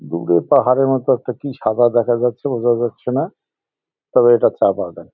দূরে পাহাড়ের মতো একটা কি সাদা দেখা যাচ্ছে বোঝা যাচ্ছে না তবে এটা চা বাগান।